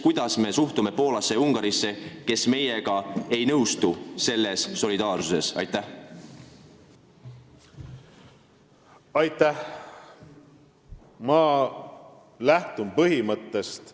Kuidas me suhtume Poolasse ja Ungarisse, kes meiega selles solidaarsuse küsimuses ei nõustu?